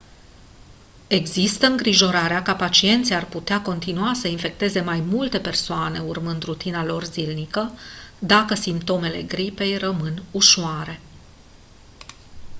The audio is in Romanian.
există îngrijorarea că pacienții ar putea continua să infecteze mai multe persoane urmând rutina lor zilnică dacă simptomele gripei rămân ușoare